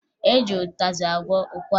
E ji ụtazị agwọ ụkwara